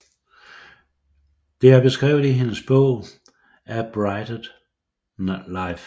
Det er beskrevet i hendes bog A Blighted Life